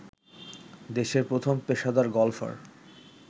দেশের প্রথম পেশাদার গলফার